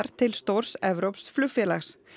til stórs evrópsks flugfélags